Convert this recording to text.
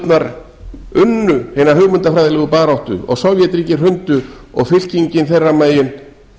lýðræðisþjóðirnar unnu hina hugmyndafræðilegu baráttu og sovétríkin hrundu og fylkingin þeirra megin